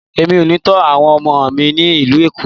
Mi ò ní tó àwọn ọmọ mi ní ìlú Èkó.